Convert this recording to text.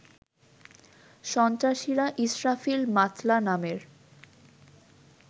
সন্ত্রাসীরা ইসরাফিল মাতলা নামের